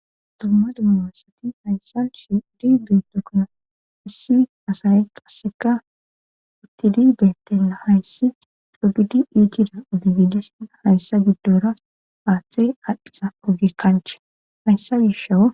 dumma dummasati hayssas dibeetokkona issi asay qasseka utti dideettela hayssi cogidu iitira ugigidesia hayssa giddora aaththee adhdhiza ogee kanche hayssa gishawo